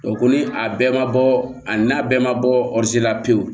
ko ni a bɛɛ ma bɔ a n'a bɛɛ ma bɔ la pewu